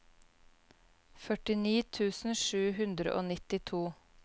førtini tusen sju hundre og nittito